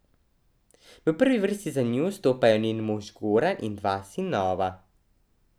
V prvi vrsti za njo stopajo njen mož Goran in dva sinova.